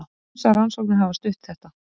Ýmsar rannsóknir hafa stutt þetta.